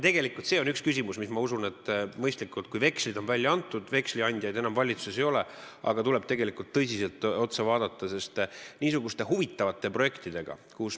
Vekslid on välja antud, veksliandjaid enam valitsuses ei ole, aga see on üks küsimusi, mida tuleb tõsiselt vaadata, sest see on niisugune huvitav projekt.